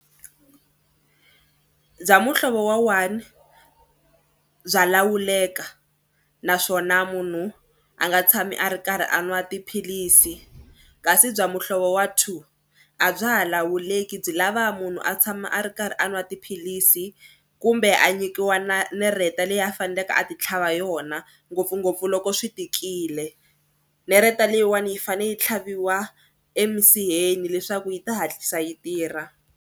Bya muhlovo wa one bya lawuleka naswona munhu a nga tshami a ri karhi a nwa tiphilisi kasi bya muhlovo wa two a bya ha lawuleki byi lava munhu a tshama a ri karhi a nwa tiphilisi kumbe a nyikiwa na nereta leyi a faneleke a titlhava yona ngopfungopfu loko swi tikile. Nereta leyiwani yi fanele yi tlhaviwa emisiheni leswaku yi ta hatlisa yi tirha.